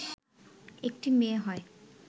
একটি মেয়ে হয়